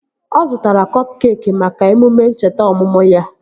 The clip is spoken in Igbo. Ọ zụtara kọp keekị maka emume ncheta ọmụmụ ya